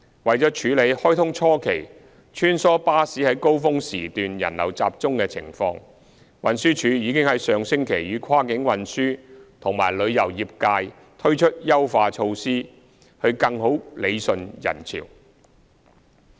為了處理開通初期穿梭巴士在高峰時段人流集中的情況，運輸署已於上星期與跨境運輸和旅遊業界推出優化措施更好理順人潮。